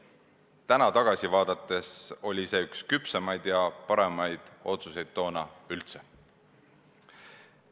Täna tagasi vaadates võib öelda, et see oli üks küpsemaid ja paremaid otsuseid toona üldse.